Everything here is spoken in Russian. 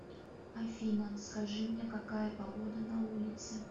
афина скажи мне какая погода на улице